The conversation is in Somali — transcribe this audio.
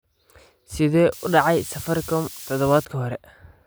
Sidee u dhacday Safaricom todobaadkii hore?